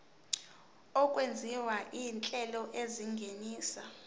okwenziwa izinhlelo ezingenisa